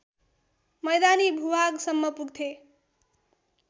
मैदानी भूभागसम्म पुग्थे